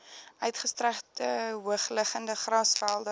uitgestrekte hoogliggende grasvelde